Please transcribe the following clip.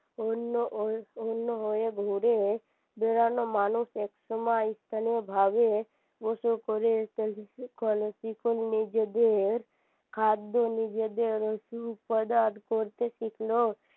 অন্য অন্য হয়ে ঘুরে বেড়ানো মানুষ একসময় স্থানীয় ভাবে গোসল করে নিজেদের খাদ্য নিজেদের উপাদান করতে শিখল